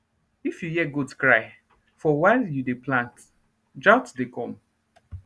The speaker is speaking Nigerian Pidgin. if you hear goat cry far while you dey plant drought dey come